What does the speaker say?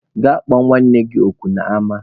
Gaa kpọ nwanne gị nwoke n'ama!